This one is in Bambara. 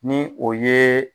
Ni o yee